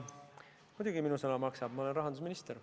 Muidugi minu sõna maksab, ma olen rahandusminister.